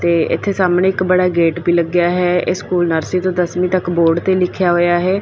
ਤੇ ਇਥੇ ਸਾਹਮਣੇ ਇੱਕ ਬੜਾ ਗੇਟ ਵੀ ਲੱਗਿਆ ਹੈ ਇਹ ਸਕੂਲ ਨਰਸਰੀ ਤੋਂ ਦਸਵੀਂ ਤੱਕ ਬੋਰਡ ਤੇ ਲਿਖਿਆ ਹੋਇਆ ਹੈ।